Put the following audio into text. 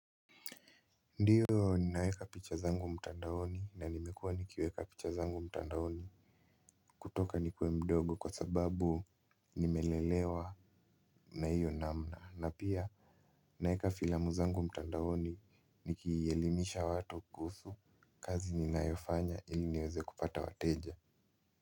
Ndiyo ninaweka picha zangu mtandaoni na nimekuwa nikiweka picha zangu mtandaoni. Kutoka nikuwe mdogo kwa sababu nimelelewa na hiyo namna na pia ninaweka filamu zangu mtandaoni nikielimisha watu kuhusu kazi ninayofanya ili niweze kupata wateja.